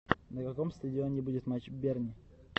на каком стадионе будет матч берни